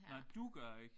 Nej du gør ikke